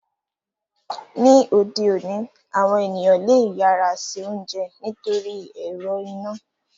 Ni ode oni, awọn eniyan le yara se ounjẹ nitori ẹrọ ina.